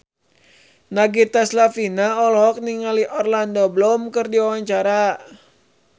Nagita Slavina olohok ningali Orlando Bloom keur diwawancara